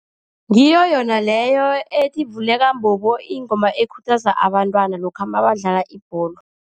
Ngiyo yona leyo ethi, vuleka mbobo, ingoma ekhuthaza abantwana lokha mabadlala ibholo.